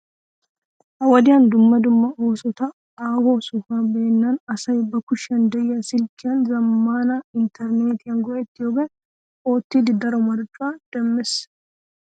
Ha"i wodiyan dumma dumma oosota haaho sohuwa beennan asay ba kushiyan de'iya silkkiyan zammaana intterneetiya go'ettiyogan oottidi daro marccuwa demmees.